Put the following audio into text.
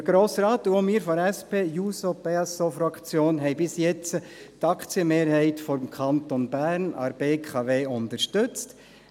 Der Grosse Rat und auch wir von der SP-JUSO-PSAFraktion haben bisher die Aktienmehrheit des Kantons Bern an der BKW unterstützt.